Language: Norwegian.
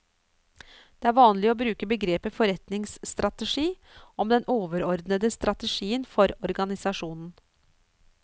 Det er vanlig å bruke begrepet forretningsstrategi om den overordnede strategien for organisasjonen.